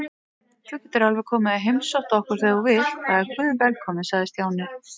Þú getur alveg komið og heimsótt okkur þegar þú vilt, það er guðvelkomið sagði Stjáni.